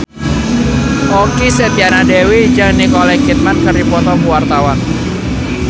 Okky Setiana Dewi jeung Nicole Kidman keur dipoto ku wartawan